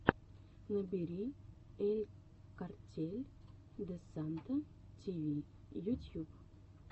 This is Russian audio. набери эль картель де санта ти ви ютюб